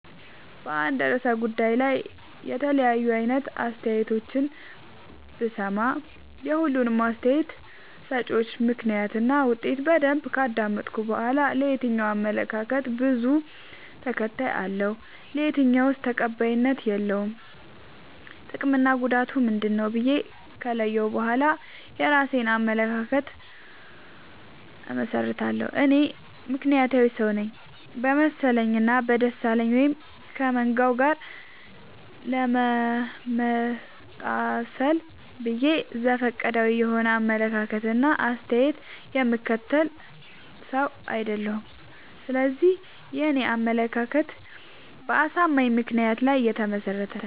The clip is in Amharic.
በአንድ እርሰ ጉዳይ ላይ የተለያዩ አይነት አስተያየቶችን ብሰማ። የሁሉንም አስታየት ሰጭወች ምክንያት እና ውጤት በደንብ ካዳመጥኩ በኋላ። የትኛው አመለካከት በዙ ተከታይ አለው። የትኛውስ ተቀባይነት የለውም ጥቅምና ጉዳቱ ምንድ ነው ብዬ ከለየሁ በኋላ የእራሴን አመለካከት አመሠርታለሁ። እኔ ምክንያታዊ ሰውነኝ በመሰለኝ እና በደሳለኝ ወይም ከመንጋው ጋር ለመመጣሰል ብዬ ዘፈቀዳዊ የሆነ አመለካከት እና አስተያየት የምከተል ሰው። አይደለሁም ስለዚህ የኔ አመለካከት በአሳማኝ ምክንያት ላይ የተመሰረተ ነው።